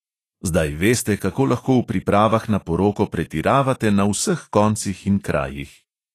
Zdaj veste, kako lahko v pripravah na poroko pretiravate na vseh koncih in krajih.